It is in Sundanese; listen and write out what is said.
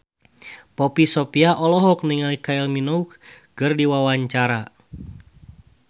Poppy Sovia olohok ningali Kylie Minogue keur diwawancara